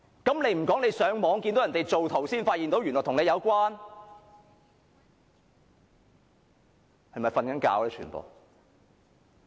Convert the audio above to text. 他倒不如說上網時看見人家造圖才發現原來與他有關？